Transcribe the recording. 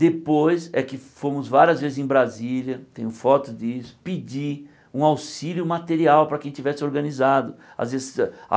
Depois é que fomos várias vezes em Brasília, tenho foto disso, pedir um auxílio material para quem tivesse organizado. Ás vezes a